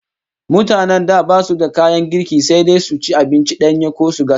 Mutanen da basu da kayan girki, sai dai su ci abinci danye ko su gasa